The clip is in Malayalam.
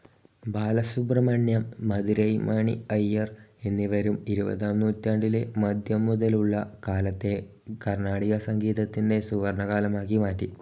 ബാലസുബ്രഹ്മണ്യം, മധുരൈ മണി അയ്യർ എന്നിവരും, ഇരുപതാം നൂറ്റാണ്ടിൻ്റെ മദ്ധ്യം മുതലുള്ള കാലത്തെ കർണ്ണാടകസംഗീതത്തിൻ്റെ സുവർണ്ണകാലമാക്കി മാറ്റി.